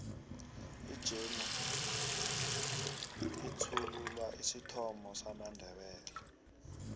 ijemu ihlsthulula isithomo samandebele